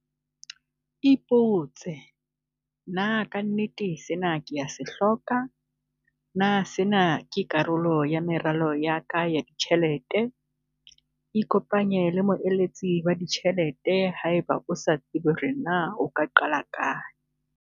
Ipotse- Na ka nnete sena ke a se hloka? Na sena ke karolo ya meralo ya ka ya ditjhelete? Ikopanye le moeletsi wa ditjhelete haeba o sa tsebe hore na o ka qala kae.